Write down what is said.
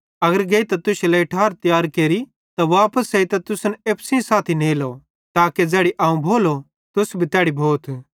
अगर गेइतां तुश्शे लेइ ठार तियार केरि त वापस एइतां तुसन एप्पू सेइं साथी नेलो ताके ज़ैड़ी अवं भोलो तुस भी तैड़ी भोथ